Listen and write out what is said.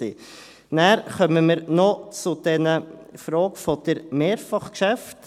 Dann kommen wir noch zur Frage der Mehrfachgeschäfte.